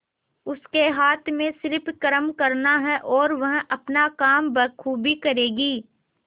उसके हाथ में सिर्फ कर्म करना है और वह अपना काम बखूबी करेगी